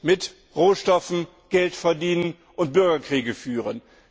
mit Rohstoffen Geld verdienen und Bürgerkriege führen.